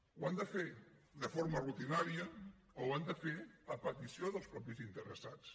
ho han de fer de forma rutinària o ho han de fer a petició dels mateixos interessats